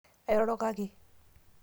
airoroko ake